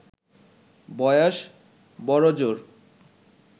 বয়স বড়জোর